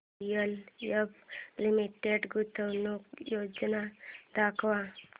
DLF limited गुंतवणूक योजना दाखव